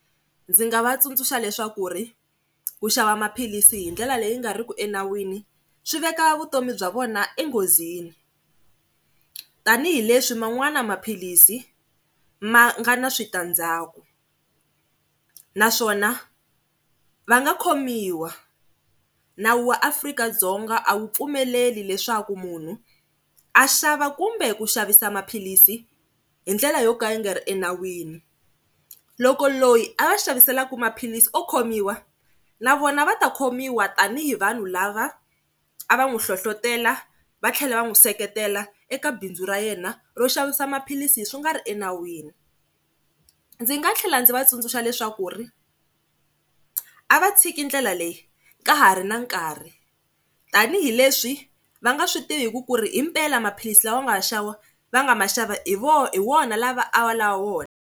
Ndzi nga va tsundzuxa leswaku ri ku xava maphilisi hi ndlela leyi nga riki enawini swi veka vutomi bya vona enghozini tanihileswi man'wana maphilisi ma nga na switandzaku naswona va nga khomiwa, nawu wa Afrika-Dzonga a wu pfumeleli leswaku munhu a xava kumbe ku xavisa maphilisi hi ndlela yo ka yi nga ri enawini. Loko loyi a va xaviselaka maphilisi o khomiwa na vona va ta khomiwa tanihi vanhu lava a va n'wi hlohlotela va tlhela va n'wi seketela eka bindzu ra yena ro xavisa maphilisi swi nga ri enawini. Ndzi nga tlhela ndzi va tsundzuxa leswaku ri a va tshiki ndlela leyi ka ha ri na nkarhi tanihileswi va nga swi tiviki ku ri hi mpela maphilisi lawa ya nga wa xava va nga ma xava hi hi wona lava a va lava wona.